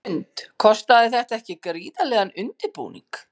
Hrund: Kostaði þetta ekki gríðarlegan undirbúning?